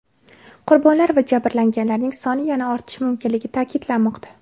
Qurbonlar va jabrlanganlarning soni yana ortishi mumkinligi ta’kidlanmoqda.